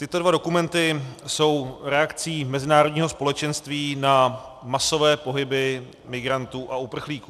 Tyto dva dokumenty jsou reakcí mezinárodního společenství na masové pohyby migrantů a uprchlíků.